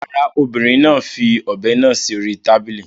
Rárá, obìnrin náà fi ọ̀be náà láti sí orí tábìlì.